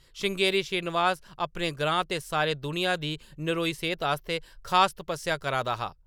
श्रृंगेरी श्रीनिवास अपने ग्रां ते सारी दुनिया दी नरोई सेह्‌त आस्तै खास तपस्सेआ करा दा हा!